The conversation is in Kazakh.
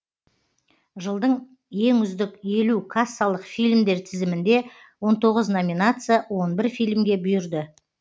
жылдың ең үздік елу кассалық фильмдер тізімінде он тоғыз номинация он бір фильмге бұйырды